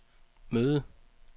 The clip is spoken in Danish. møde